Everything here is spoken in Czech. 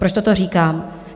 Proč toto říkám?